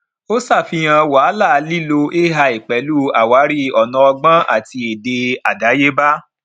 ó ṣàfihàn wàhálà lílo ai pẹlú àwárí ònà ọgbọn àti èdè àdáyébá